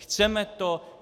Chceme to?